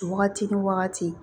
Wagati ni wagati